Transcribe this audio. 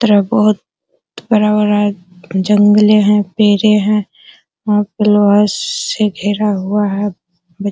और ये बहुत बड़ा-बड़ा जंगलें हैं पेड़ें हैं। यहाँ पे लोहा से घेरा हुआ है। बत --